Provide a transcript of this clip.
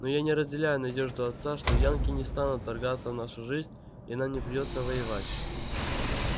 но я не разделяю надежду отца что янки не станут вторгаться в нашу жизнь и нам не придётся воевать